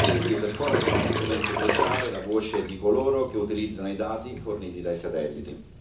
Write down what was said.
Gli User Fora sono uno strumento cruciale, la voce di coloro che utilizzano i dati forniti dai satelliti.